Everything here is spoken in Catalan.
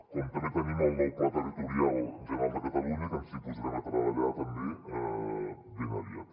com també tenim el nou pla territorial general de catalunya que ens hi posarem a treballar també ben aviat